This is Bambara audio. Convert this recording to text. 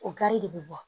O gari de bɛ bɔ